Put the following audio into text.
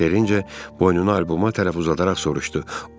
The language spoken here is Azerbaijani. Terenci boynunu alboma tərəf uzadaraq soruşdu.